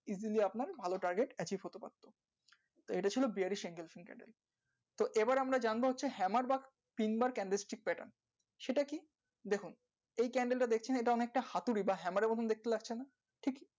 easily আপনার ভালো হতে পারতো তো ইটা ছিল তো এবার আমরা জানবো হচ্ছে বা সেটা কি দেখুন এই টা দেখুন এই টা দেখছেন ইটা অনেকটা হাতুড়ি বা এর মতো দেখতে লাগছে না ঠিক